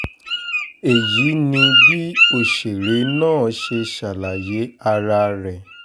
èyí ni bí òṣèré náà ṣe ṣàlàyé ara rẹ̀